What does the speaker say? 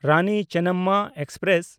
Rani Chennamma express